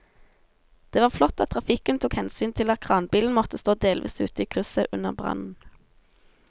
Det var flott at trafikken tok hensyn til at kranbilen måtte stå delvis ute i krysset under brannen.